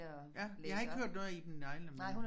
Ja jeg har ikke hørt noget af Iben Hjejle men